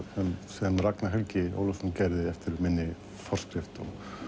sem Ragnar Helgi Ólafsson gerði eftir minni forskrift